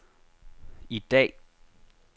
i dag